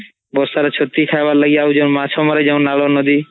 ବର୍ଷା ରେ ଚତି ଖାଇବା ଲାଗି ଆଉ ଯାଉ ମାଛ ମାରିଯାଉ ନାଲୁଆ ନଦୀ